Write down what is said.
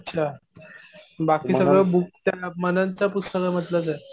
अच्छा. बाकी सगळं बुक त्या मननच्या पुस्तकांमधलंच आहे.